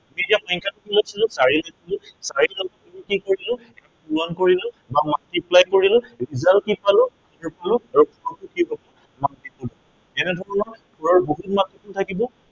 আমি এতিয়া সংখ্য়াটো কি লৈছিলো, চাৰি লৈছিলো, চাৰিৰে কি কৰিছিলো, পূৰণ কৰিছিলো বা multiply কৰিলো। result কি পালো এনেধৰণৰ বহুত multiple থাকিব